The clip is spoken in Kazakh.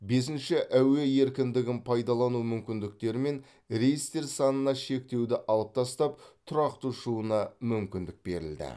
бесінші әуе еркіндігін пайдалану мүмкіндігімен рейстер санына шектеуді алып тастап тұрақты ұшуына мүмкіндік берілді